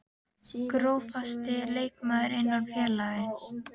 Grófasti leikmaður innan félagsins?